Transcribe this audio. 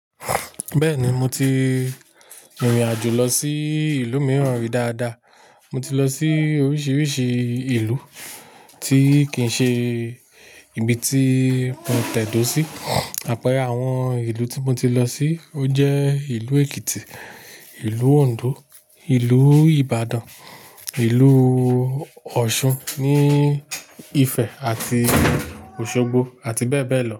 Bẹ́ẹ̀ni mo ti rìnrìn àjò lọ sí ìlú mìíràn rí dáadáa. Mo ti lọ sí oríṣiríṣi ìlú tí kì í ṣe ibi tí mo tẹ̀dó sí. Àpẹẹrẹ àwọn ìlú tí mo ti lọ sí ó jẹ́ ìlú Èkìtì, ìlú Òǹdó, ìlú Ìbàdàn, ìlú Ọ̀ṣun, ní Ifẹ̀ àti Òṣogbo àti bẹ́ẹ̀ bẹ́ẹ̀ lọ.